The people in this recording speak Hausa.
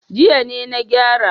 Jiya ne na gyara.